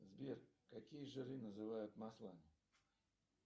сбер какие жиры называют маслами